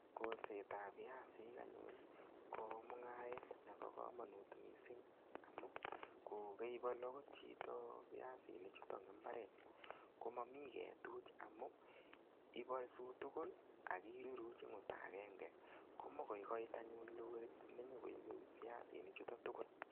Kolset ab piasik anyun ko mungaret nebo kamanut mising amu kokaibalu agot chito piasichuto eng imbaret komami ketuch amu ibarsut tugul ak iruruch eng olda agenge. Koma koi koit anyun lorit nenyokoibe piasini chuto tugul.